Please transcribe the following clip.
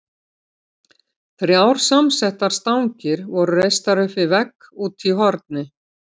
Þrjár samsettar stangir voru reistar upp við vegg úti í horni.